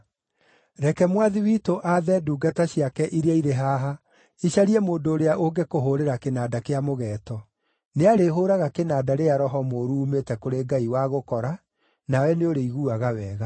Reke mwathi witũ aathe ndungata ciake iria irĩ haha icarie mũndũ ũrĩa ũngĩkũhũũrĩra kĩnanda kĩa mũgeeto. Nĩarĩhũũraga kĩnanda rĩrĩa roho mũũru uumĩte kũrĩ Ngai wagũkora, nawe nĩũrĩiguaga wega.”